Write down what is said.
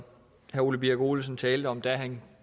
herre ole birk olesen talte om da han